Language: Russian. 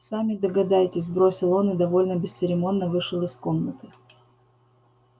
сами догадайтесь бросил он и довольно бесцеремонно вышел из комнаты